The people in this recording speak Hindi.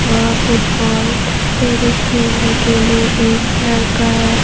आह फुटबॉल टेनिस खेलने के लिए एक लड़का है।